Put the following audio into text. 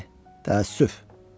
O ölümə layiqdir. Təəssüf.